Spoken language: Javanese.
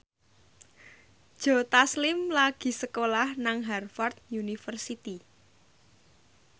Joe Taslim lagi sekolah nang Harvard university